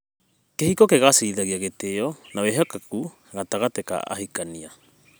Kĩhiko kĩgacĩrithagia gĩtĩo na wĩhokeku gatagatĩ ka ahikania.